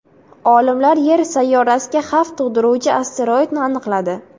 Olimlar Yer sayyorasiga xavf tug‘diruvchi asteroidni aniqladi.